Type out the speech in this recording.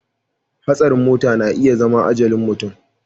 Hatsarin mota na iya zama ajalin mutum